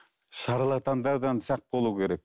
шарлатандардан сақ болу керек